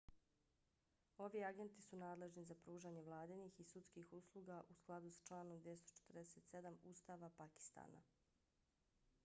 ovi agenti su nadležni za pružanje vladinih i sudskih usluga u skladu s članom 247 ustava pakistana